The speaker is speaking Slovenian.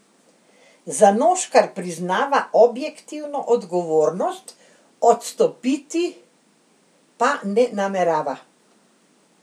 Zanoškar priznava objektivno odgovornost, odstopiti pa ne namerava.